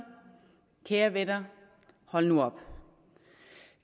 kære venner hold nu op